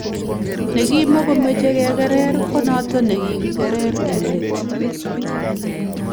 Negimakomeche kekerer konoto ne kigikerer eng let